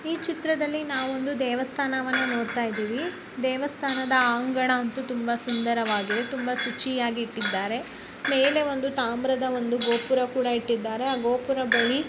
ಈ ಚಿತ್ರದಲ್ಲಿ ನಾವು ಒಂದು ದೇವಸ್ಥಾನವನ್ನು ನೋಡ್ತಾ ಇದ್ದೀವಿ ದೇವಸ್ಥಾನದ ಅಂಕಣವನ್ನು ತುಂಬಾ ಸುಂದರವಾಗಿದೆ ತುಂಬಾ ಶುಚಿಯಾಗಿ ಇಟ್ಟಿದ್ದಾರೆ ಮೇಲೆ ಒಂದು ತಾಮ್ರದ ಗೋಪುರವನ್ನು ಕೂಡ ಇಟ್ಟಿದ್ದಾರೆ ಗೋಪುರದಲ್ಲಿ.